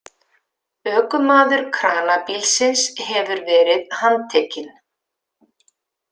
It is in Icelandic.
Ökumaður kranabílsins hefur verið handtekinn